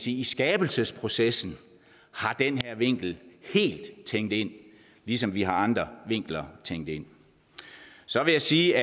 i skabelsesprocessen har den her vinkel helt tænkt ind ligesom vi har andre vinkler tænkt ind så vil jeg sige